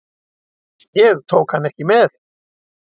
Ég tók hann ekki með.